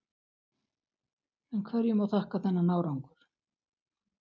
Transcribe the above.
En hverju má þakka þennan árangur?